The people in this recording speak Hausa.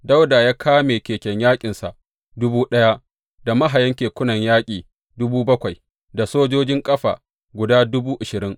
Dawuda ya kame keken yaƙinsa dubu ɗaya, da mahayan kekunan yaƙi dubu bakwai da sojojin kafa guda dubu ashirin.